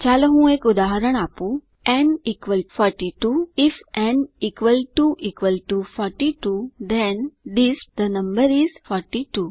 ચાલો હું એક ઉદાહરણ આપું n equal 42 if n equal to equal to 42 then DISP the number is 42